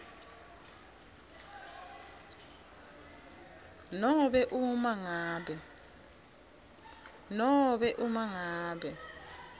nobe uma ngabe